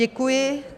Děkuji.